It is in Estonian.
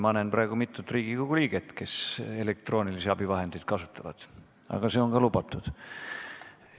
Ma näen praegu mitut Riigikogu liiget, kes elektroonilisi abivahendeid kasutavad, aga see on ka lubatud.